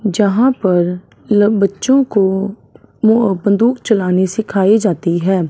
जहां पर ल बच्चों को मुंह बंदूक चलाने सिखाई जाती है।